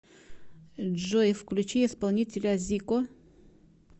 джой включи исполнителя зико